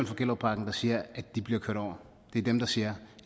for gellerupparken der siger at de bliver kørt over det er dem der siger